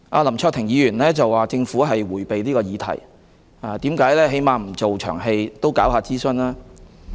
林卓廷議員說政府迴避這項議題，質疑當局"為何連一場戲也不做，起碼應該進行諮詢吧？